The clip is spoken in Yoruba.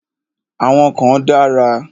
Àwọn kan dára.